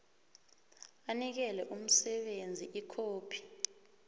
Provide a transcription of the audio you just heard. anikele umsebenzi ikhophi